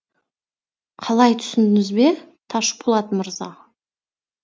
қалай түсіндіңіз бе ташпулат мырза